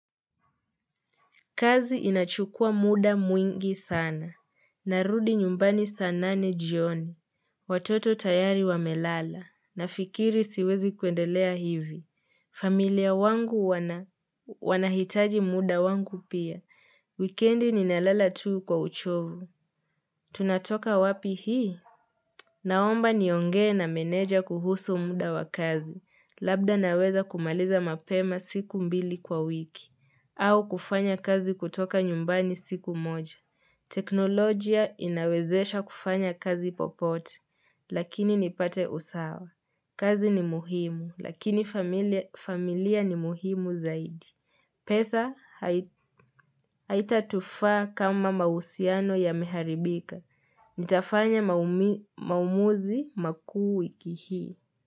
Kazi inachukua muda mwingi sana. Narudi nyumbani sanane ni jioni. Watoto tayari wamelala. Nafikiri siwezi kuendelea hivi. Familia wangu wanahitaji muda wangu pia. Wikendi ninalala tu kwa uchovu. Tunatoka wapi hii? Naomba niongee na meneja kuhusu muda wakazi. Labda naweza kumaliza mapema siku mbili kwa wiki. Au kufanya kazi kutoka nyumbani siku moja. Teknolojia inawezesha kufanya kazi popote, lakini nipate usawa. Kazi ni muhimu, lakini familia ni muhimu zaidi. Pesa haitatufa kama mausiano ya miharibika. Nitafanya maumi maumuzi makuu wiki hii.